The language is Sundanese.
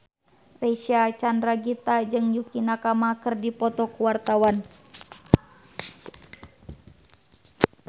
Reysa Chandragitta jeung Yukie Nakama keur dipoto ku wartawan